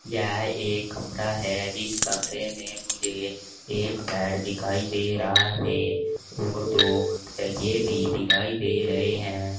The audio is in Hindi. यह एक कमरा है जिस कमरे मुझे एक बेड दिखाई दे रहा है और दो तकिये भी दिखाई दे रहे है।